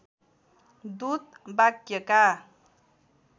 दूत वाक्यका